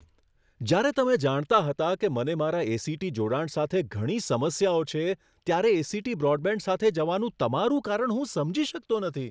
જ્યારે તમે જાણતા હતા કે મને મારા એ.સી.ટી. જોડાણ સાથે ઘણી સમસ્યાઓ છે, ત્યારે એ.સી.ટી. બ્રોડબેન્ડ સાથે જવાનું તમારું કારણ હું સમજી શકતો નથી.